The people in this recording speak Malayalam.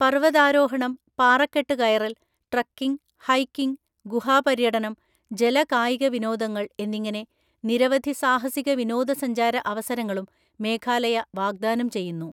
പർവതാരോഹണം, പാറക്കെട്ടുകയറല്‍, ട്രക്കിംഗ്, ഹൈക്കിംഗ്, ഗുഹാപര്യടനം, ജലകായികവിനോദങ്ങള്‍ എന്നിങ്ങനെ നിരവധി സാഹസിക വിനോദസഞ്ചാര അവസരങ്ങളും മേഘാലയ വാഗ്ദാനം ചെയ്യുന്നു.